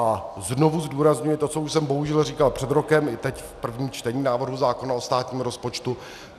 A znovu zdůrazňuji to, co už jsem bohužel říkal před rokem, i teď v prvním čtení návrhu zákona o státním rozpočtu.